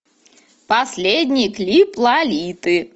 последний клип лолиты